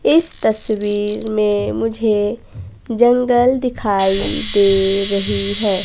इस तस्वीर में मुझे जंगल दिखाई दे रही है।